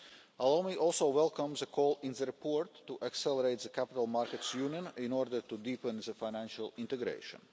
Allow me also to welcome the call in the report to accelerate the Capital Markets Union in order to deepen financial integration.